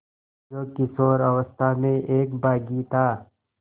जो किशोरावस्था में एक बाग़ी था